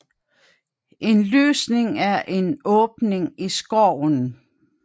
En lysning er en åbning i skoven